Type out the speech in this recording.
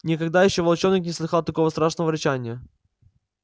никогда ещё волчонок не слыхал такого страшного рычания